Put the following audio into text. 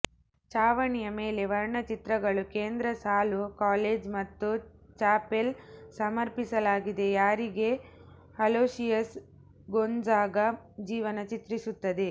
ಚಾವಣಿಯ ಮೇಲೆ ವರ್ಣಚಿತ್ರಗಳು ಕೇಂದ್ರ ಸಾಲು ಕಾಲೇಜ್ ಮತ್ತು ಚಾಪೆಲ್ ಸಮರ್ಪಿಸಲಾಗಿದೆ ಯಾರಿಗೆ ಅಲೋಶಿಯಸ್ ಗೊಂಝಾಗ ಜೀವನ ಚಿತ್ರಿಸುತ್ತದೆ